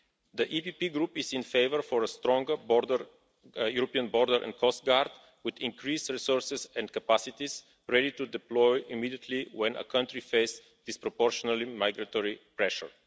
The PPE Group is in favour of a stronger European Border and Coast Guard with increased resources and capacities ready to deploy immediately whenever a country faces disproportionate migratory pressure.